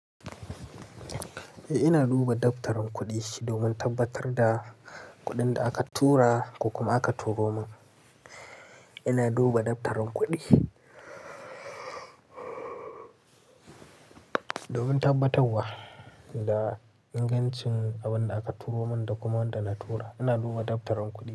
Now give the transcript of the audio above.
Eh, ina duba daftarin kuɗi domin tabbatar da kuɗin da aka tura ko kuma aka turo min. Ina duba daftarin kuɗi domin tabbatawa da ingancin abin da aka turo min da kuma wanda na tura. Ina duba daftarin kuɗi.